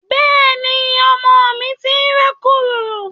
Bẹ́ẹ̀ni, ọmọ mi ti ń rákòrò